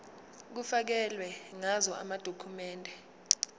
kufakelwe ngazo amadokhumende